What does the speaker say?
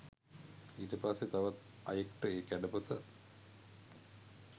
ඊට පස්සෙ තවත් අයෙක්ට ඒ කැඩපත